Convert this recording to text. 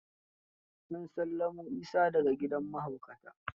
An sallamo Isa da ga gidan mahaukata.